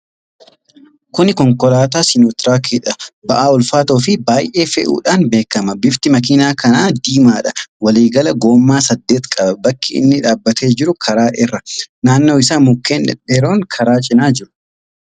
Kuni konkolaataa siinootiraakidha. Ba'aa ulfaatoo fi baay'ee fe'uudhaan beekama. Bifti makiinaa kanaa Diimaadha. Walii gala gommaa saddeet qaba. Bakki inni dhaabatee jiru karaa irra. Naanno isaa mukkeen dhedheeroon karaa cinaa jiru.